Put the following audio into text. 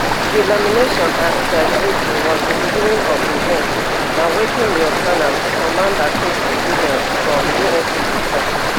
delamination at dive eighty was di beginning of di end na wetin lieu ten ant commander katie williams from uscg tok